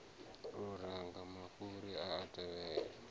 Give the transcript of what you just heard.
luranga mafhuri a a tevhela